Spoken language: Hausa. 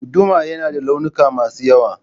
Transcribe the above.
Guduma yana da launuka masu yawa